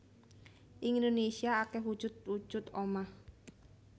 Ing Indonésia akeh wujud wujud omah